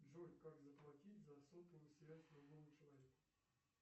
джой как заплатить за сотовую связь другому человеку